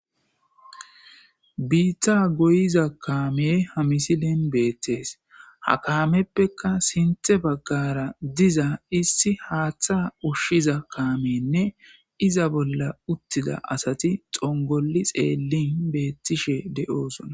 biitta goyiza kaame hamisilen beettees ha kaameppeka sinthe baggara diza issi haaththa ushshiza kaamenne iza bolla uttida asati xongoli xeellin beettishe de7oosona